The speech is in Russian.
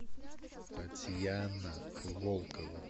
татьяна волкова